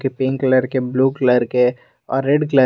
pink colour के blue colour के और रेड कलर --